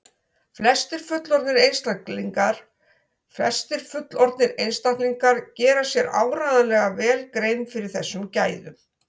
flestir fullorðnir einstaklingar gera sér áreiðanlega vel grein fyrir þessum gæðum